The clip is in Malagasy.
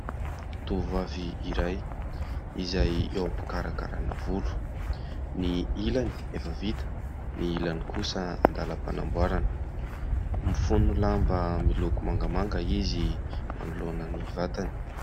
Tovovavy iray izay eo am-pikarakarana volo, ny ilany efa vita, ny ilany kosa andàlam-panamboarana, mifono lamba miloko mangamanga izy manoloana ny vatany.